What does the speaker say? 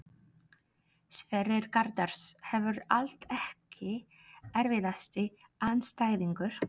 Sverrir Garðars hefur allt Ekki erfiðasti andstæðingur?